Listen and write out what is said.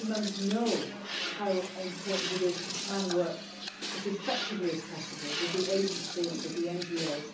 Honourable Members know how important it is to try to work as effectively as possible with the agencies and the NGOs.